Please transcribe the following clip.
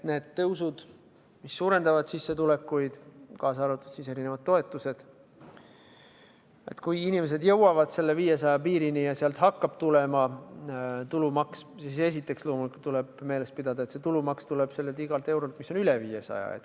Need tõusud, mis suurendavad sissetulekuid – kaasa arvatud erinevad toetused –, kui inimesed jõuavad selle 500 piirini ja sealt hakkab tulema tulumaks, siis esiteks loomulikult tuleb meeles pidada, et see tulumaks tuleb igalt eurolt, mis on üle 500.